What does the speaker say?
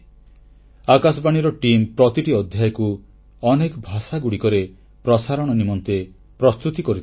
ଆକାଶବାଣୀର ଟିମ୍ ପ୍ରତିଟି ଅଧ୍ୟାୟକୁ ଅନେକ ଭାଷାରେ ପ୍ରସାରଣ ନିମନ୍ତେ ପ୍ରସ୍ତୁତ କରିଥାନ୍ତି